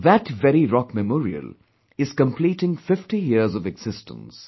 That very rock Memorial is completing 50 years of existence